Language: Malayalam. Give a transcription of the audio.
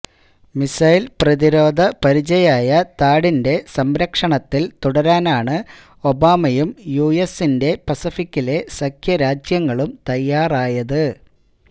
മിസൈല് പ്രതിരോധ പരിചയായ താഡിന്റെ സംരക്ഷണത്തില് തുടരാനാണ് ഒബാമയും യുഎസിന്റെ പസഫിക്കിലെ സഖ്യരാജ്യങ്ങളും തയ്യാറായത്